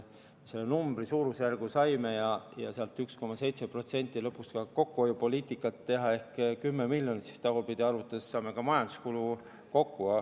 Me selle suurusjärgu saime, lõpuks tuleb ka 1,7% kokkuhoiupoliitikat teha, ehk 10 miljonit, ja tagurpidi arvutades siis saame ka majanduskulud kokku.